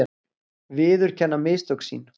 Viðurkenna mistök sín.